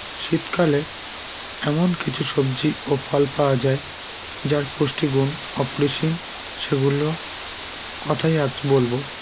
শীতকালে এমন কিছু সবজি ও ফল পাওয়া যায় যার পুষ্টিগুণ অপরিসীম সেগুলো কথাই আজ বলবো